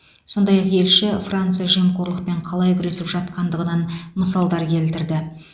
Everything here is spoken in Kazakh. сондай ақ елші франция жемқорлықпен қалай күресіп жатқандығынан мысалдар келтірді